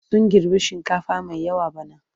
Sun girbi shinkafa mai yawa bana.